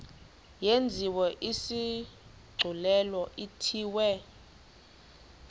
yenziwe isigculelo ithiwe